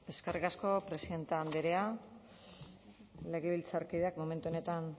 eskerrik asko presidente andrea legebiltzarkideak momentu honetan